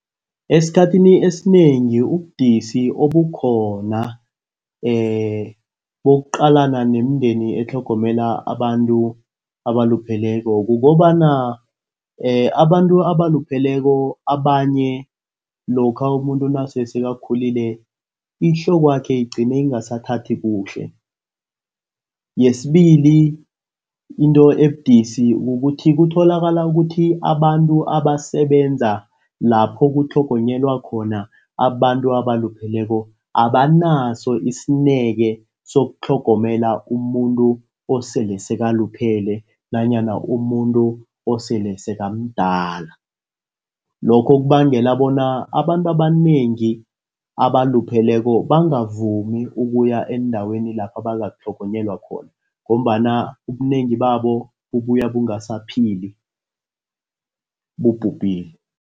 Esikhathini esinengi ubudisi obukhona bokuqalana nemindeni etlhogomela abantu abalupheleko. Kukobana abantu abalupheleko abanye lokha umuntu nase sekakhulile ihlokwakhe igcine ingasathathi kuhle. Yesibili into ebudisi kukuthi kutholakala ukuthi abantu abasebenza lapho kutlhogonyelwa khona abantu abalupheleko abanaso isineke sokutlhogonyelwa umuntu osele sekaluphele nanyana umuntu osele sekamdala. Lokho kubangela bona abantu abanengi abalupheleko bangavumi ukuya endaweni lapha bangatlhogonyelwe khona ngombana ubunengi babo bubuya bungasaphili bubhubhile.